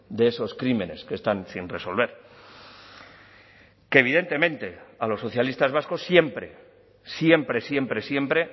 de esos crímenes que están sin resolver que evidentemente a los socialistas vascos siempre siempre siempre siempre